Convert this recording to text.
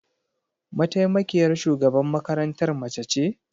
Mataimakiyar shugaban makarantar mace ce?